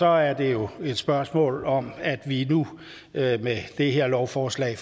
er det jo et spørgsmål om at vi nu med det her lovforslag